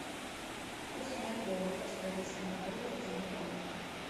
курс бальбоа к австралийскому доллару в сбербанке